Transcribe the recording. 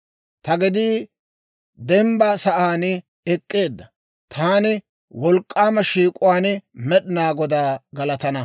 Ta gedii dembba sa'aan ek'k'eedda; taani wolk'k'aama shiik'uwaan Med'inaa Godaa galatana.